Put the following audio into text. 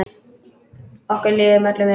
Okkur líður öllum vel.